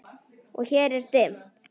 Og hér er dimmt.